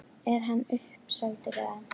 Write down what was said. Er hann uppseldur eða?